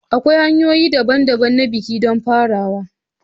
Akwai hanyoyi daban-daban na biki don farawa.